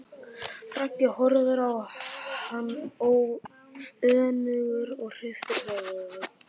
Raggi horfir á hann önugur og hristir höfuðið.